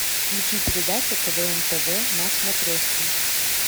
включи передачу квн тв на смотрешке